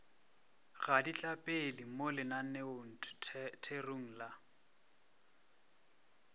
ga ditlapele mo lenaneotherong la